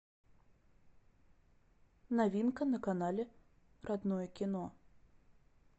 новинка на канале родное кино